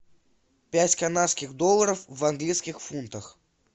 пять канадских долларов в английских фунтах